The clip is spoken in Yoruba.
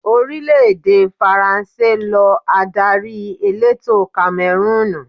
Orílẹ̀ èdè Faransé lọ adarí elétò Kamẹrúùnù.